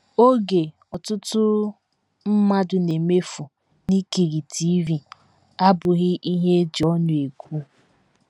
Oge ọtụtụ mmadụ na - emefu n’ikiri TV abụghị ihe e ji ọnụ ekwu.